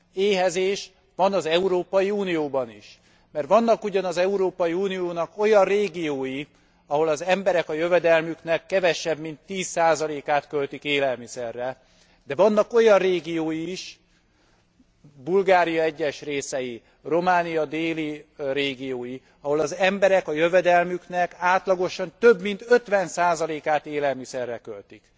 Éhezés van az Európai Unióban is. Mert vannak ugyan az Európai Uniónak olyan régiói, ahol az emberek a jövedelmüknek kevesebb, mint 10 át költik élelmiszerre, de vannak olyan régiói is Bulgária egyes részei, Románia déli régiói ahol az emberek a jövedelmüknek átlagosan több mint 50 át élelmiszerre költik.